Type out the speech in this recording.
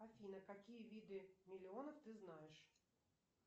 афина какие виды миллионов ты знаешь